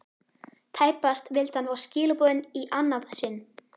Tæpast vildi hann fá skilaboðin í annað sinn.